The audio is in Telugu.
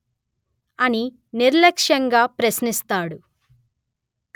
అని నిర్లక్ష్యంగా ప్రశ్నిస్తాడు